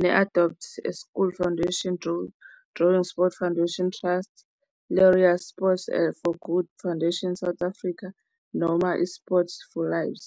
ne-Adopt School Foundation, Drawing Sport Foundation Trust, Leria Sport for Good Foundation South Africa noma i-Sport for Lives.